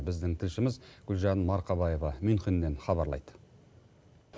біздің тілшіміз гүлжан мархабаева мюнхеннен хабарлайды